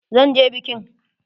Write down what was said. Zan je bikin!